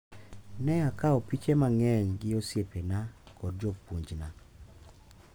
Ne akawo piche mang’eny gi osiepena kod jopuonjna.